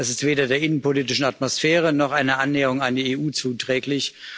Das ist weder der innenpolitischen Atmosphäre noch einer Annäherung an die EU zuträglich.